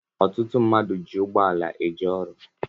Ọtụtụ mmadụ ji ụgbọala eje ọrụ